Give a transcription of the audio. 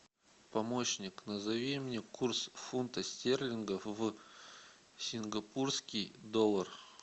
помощник назови мне курс фунта стерлингов в сингапурский доллар